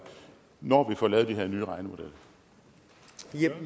når vi får lavet de